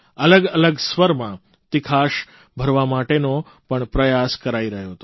અલગ અલગ સ્વરમાં તિખાશ ભરવા માટેનો પણ પ્રયાસ કરાઇ રહ્યો હતો